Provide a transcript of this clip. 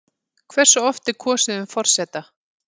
Hversu oft er kosið um forseta?